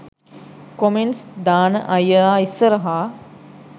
comments දාන අයියලා ඉස්සරහා